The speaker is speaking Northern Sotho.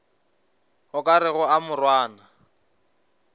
o ka rego a morwana